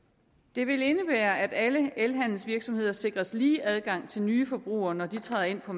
det vil indebære at alle elhandelsvirksomheder sikres lige adgang til nye forbrugere når de træder ind på